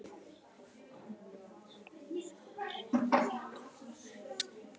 Jæja, ég þarf að fara að koma mér heim